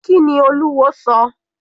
Kíni Olúwo sọ?